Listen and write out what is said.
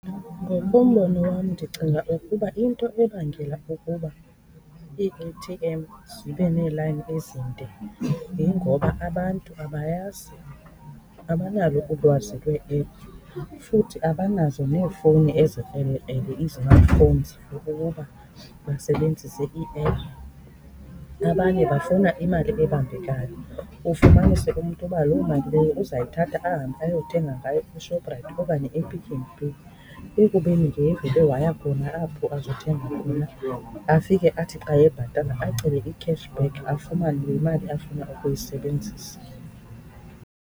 Ngokombono wam ndicinga ukuba into ebangela ukuba ii-A_T_M zibe neelayini ezinde yingoba abantu abayazi, abanalo ulwazi lweephu futhi abanazo neefowuni ezibene-ephu, iizimathifowuni for ukuba basebenzise iiephu. Abanye bafuna imali ebambekayo. Ufumanise umntu uba loo imali leyo uzayithatha ahambe ayothenga ngayo eShoprite okanye ePick 'n Pay ekubeni ke ngevele waya khona apho azothenga afike athi xa ebhatala acele i-cash back, afumane le mali afuna ukuyisebenzisa.